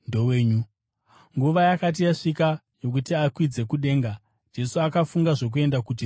Nguva yakati yasvika yokuti akwidzwe kudenga, Jesu akafunga zvokuenda kuJerusarema.